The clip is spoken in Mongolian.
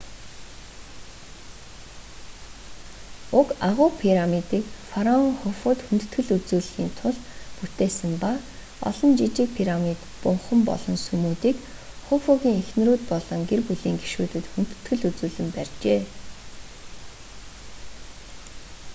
уг агуу пирамидыг фараон хуфуд хүндэтгэл үзүүлэхийн тулд бүтээсэн ба олон жижиг пирамид бунхан болон сүмүүдийг хуфугийн эхнэрүүд болон гэр бүлийн гишүүдэд хүндэтгэл үзүүлэн барьжээ